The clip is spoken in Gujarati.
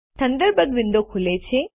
થંડરબર્ડ વિન્ડો ખૂલે છે